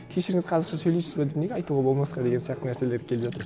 кешіріңіз қазақша сөйлейсіз бе деп неге айтуға болмасқа деген сияқты нәрселер